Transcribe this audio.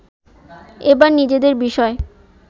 এবার নিজেদের বিষয়